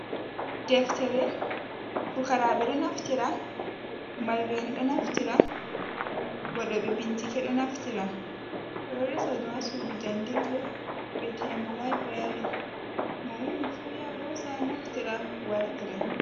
Deftere, fukaraɓe ɗo naftira, mallu en ɗo naftira, waɗo be bincike ɗo naftira, ɓeɗo resa ɗum hasudu jangirte ve'etendu library, mo ummifu ya hosa naftira wartira.